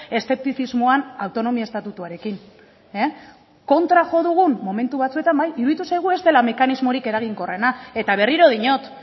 eszeptizismoan autonomia estatutuarekin kontra jo dugu momentu batzuetan bai iruditu zaigu ez dela mekanismorik eraginkorrena eta berriro diot